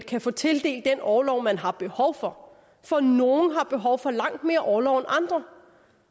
kan få tildelt den orlov man har behov for for nogle har behov for langt mere orlov end andre